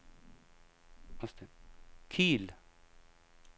Kiel